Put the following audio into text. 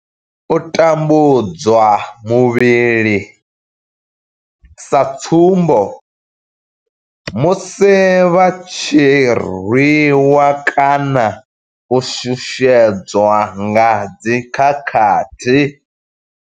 U tambudzwa muvhili, sa tsumbo, musi vha tshi rwiwa kana u shushedzwa nga dzi khakhathi.